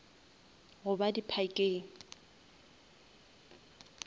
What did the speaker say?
goba di parkeng